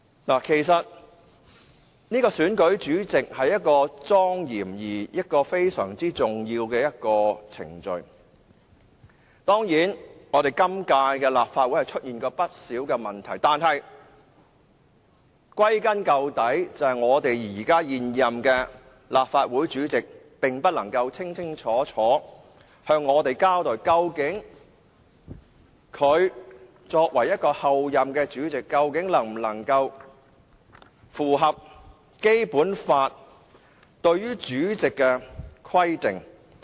選舉立法會主席是莊嚴而非常重要的程序，當然，本屆立法會選舉立法會主席時出現過不少問題，但歸根究底，是現任立法會主席不能夠清清楚楚向我們交代，究竟作為候任立法會主席，他能否符合《基本法》對於立法會主席的規定。